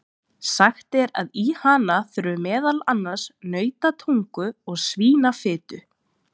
Sagt er að í hana þurfi meðal annars nautatungu og svínafitu.